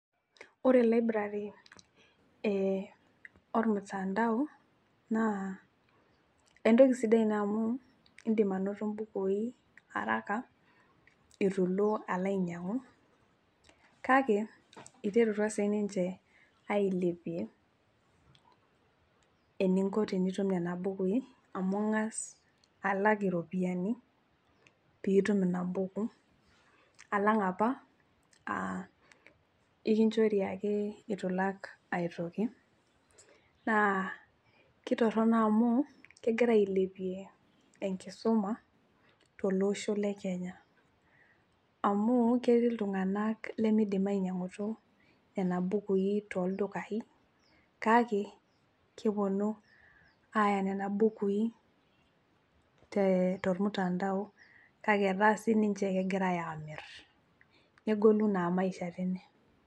Ore library ormutandao naa entoki sidai ina amu indim anoto mbukui araka ituilo alo ainyiangu kake iterutua siniche ailepie eninko tenitum kuna bukui amu kingas alak iropiyiani pitum anoto inabuku alang apa aa ekinchori ake itulak aetoki naa kitono amu kegira ailepie enkisuma tolosho lekenya amu ketii iltunganak lemidim ainyiangutu nena bukui toldukai kake keponu aya nena bukui te tormutandao kake etaa sininche kegira amir nena bukui negolu naa maisha teine .